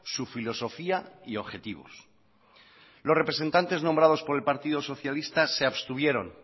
su filosofía y objetivos los representantes nombrados por el partido socialista se abstuvieron